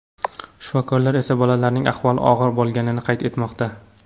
Shifokorlar esa bolalarning ahvoli og‘ir bo‘lganini qayd etmoqda.